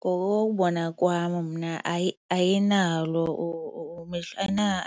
Ngokokubona kwam mna hayi ayinalo